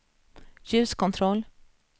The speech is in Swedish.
ljuskontroll